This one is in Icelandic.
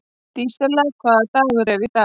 Dísella, hvaða dagur er í dag?